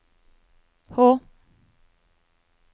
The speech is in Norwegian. H